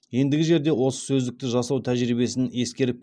ендігі жерде осы сөздікті жасау тәжірибесін ескеріп